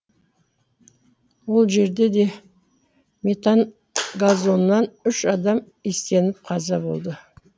ол жерде де метан газынан үш адам иістеніп қаза болды